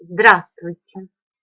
здравствуйте